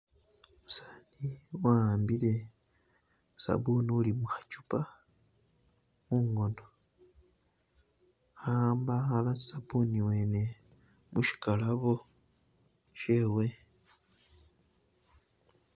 Umusani wahambile sabbuni uli mukhachupa mungono ahamba akhala sabbuni wene mushigalabo shewe.